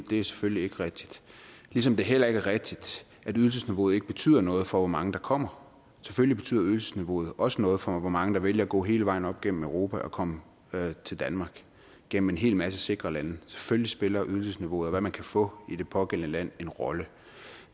det er selvfølgelig ikke rigtigt ligesom det heller ikke er rigtigt at ydelsesniveauet ikke betyder noget for hvor mange der kommer selvfølgelig betyder ydelsesniveauet også noget for hvor mange der vælger at gå hele vejen op gennem europa og komme til danmark gennem en hel masse sikre lande selvfølgelig spiller ydelsesniveauet og hvad man kan få i det pågældende land en rolle